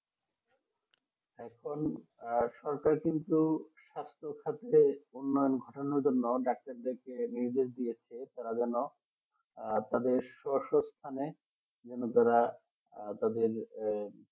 এখন সরকারকে কিন্তু স্বাস্থ্য ঘাটের উন্নয়ন ঘটার জন্য নির্দেশ দিয়েছে করার জন্য আপনাদের সশস্ত স্থানে যারা যাদেরকে আহ